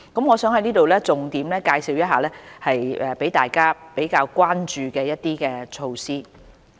我想在這裏重點介紹一些大家比較關注的措施。